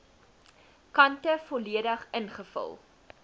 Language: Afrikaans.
kante volledig ingevul